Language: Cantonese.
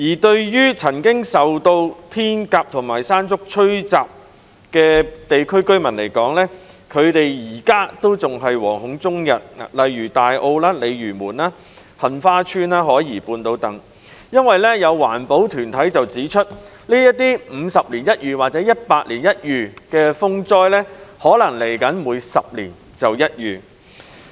至於曾經受到"天鴿"和"山竹"吹襲的地區，例如大澳、鯉魚門、杏花邨及海怡半島等，居民至今仍是惶恐終日，因為有環保團體指出，這些50年一遇或100年一遇的風災，將來可能會變成10年一遇。